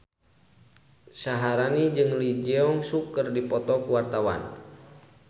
Syaharani jeung Lee Jeong Suk keur dipoto ku wartawan